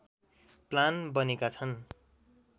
plan बनेका छन्